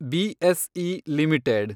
BSE limited